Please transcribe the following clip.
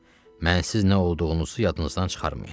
Mənsiz nə olduğunuzu yadınızdan çıxarmayın.